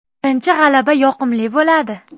Birinchi g‘alaba yoqimli bo‘ladi.